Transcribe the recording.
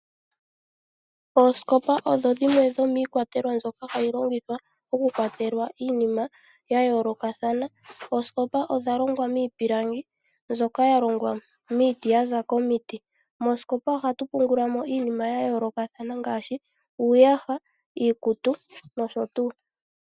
Oosikopa odho dhimwe dhomiikwatelwa mbyoka hayi longithwa okukwatelwa iinima ya yoolokathana. Oosikopa odha longwa miipilangi mbyoka yalongwa miiti ya za komiti. Moosikopa ohatu pungulamo iinima yayoolokathana ngaashi uuyasha, iikutu nosho tuu.